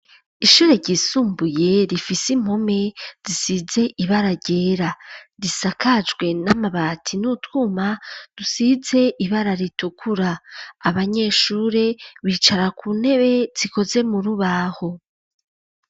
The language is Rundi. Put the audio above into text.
Ishure ryisumbuye, rifise impome zisize ibara ryera, risakajwe n'amabati ,nutwuma dusize ibara ritukura, abanyeshure bicara ku ntebe zikoze murubaho.